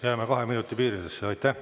Jääme kahe minuti piiridesse!